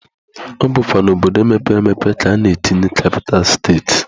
Ọ bụkwa n'obodo mepere emepe ka a na-etinye kapital steti.